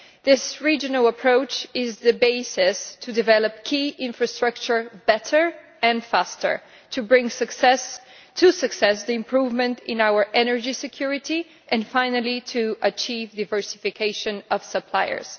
This regional approach is the basis to developing key infrastructure better and faster, bringing success to the improvement in our energy security and, finally, achieving a diversification of suppliers.